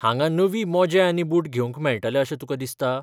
हांगा नवीं मोजे आनी बूट घेवंक मेळटले अशें तुका दिसता?